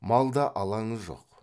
малда алаңы жоқ